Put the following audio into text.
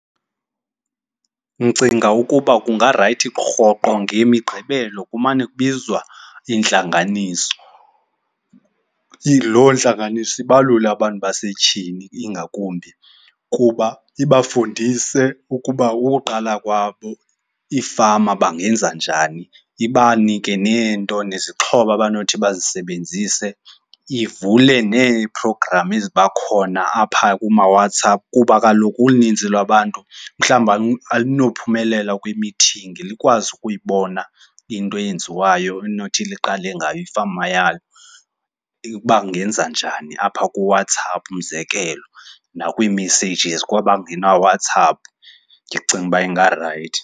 Ndicinga ukuba kungarayithi rhoqo ngemiqgibelo kumane kubizwa intlanganiso. Loo ntlanganiso ibalule abantu basetyhini, ingakumbi kuba ibafundise ukuba ukuqala kwabo iifama bangenza njani. Ibanike neento, nezixhobo abanothi bazisebenzise, ivule neeprogramu eziba khona apha kumaWhatsApp kuba kaloku uninzi lwabantu mhlawumbi alinophumelela kwimithingi. Likwazi ukuyibona into eyenziwayo elinothi liqale ngayo ifama yalo, uba angenza njani apha kuWhatsApp umzekelo, nakwii-messages kwabangenaye uWhatsApp, ndicinga uba zingarayithi.